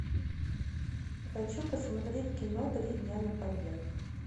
хочу посмотреть кино три дня на побег